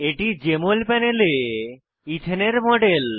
এটি জেএমএল প্যানেলে ইথেনের মডেল